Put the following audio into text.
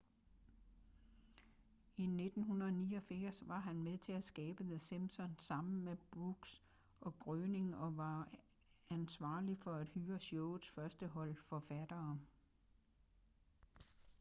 i 1989 var han med til at skabe the simpsons sammen med brooks og groening og var ansvarlig for at hyre showets første hold forfattere